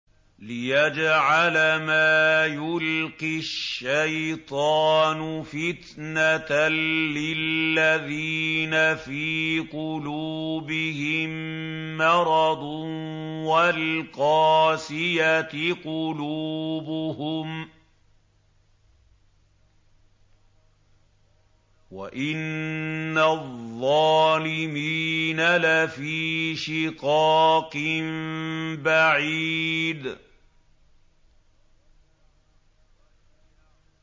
لِّيَجْعَلَ مَا يُلْقِي الشَّيْطَانُ فِتْنَةً لِّلَّذِينَ فِي قُلُوبِهِم مَّرَضٌ وَالْقَاسِيَةِ قُلُوبُهُمْ ۗ وَإِنَّ الظَّالِمِينَ لَفِي شِقَاقٍ بَعِيدٍ